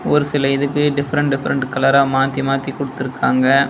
ஒரு சில இதுக்கு டிஃபரண்ட் டிஃபரண்ட் கலரா மாத்தி மாத்தி குடுத்துருக்காங்க.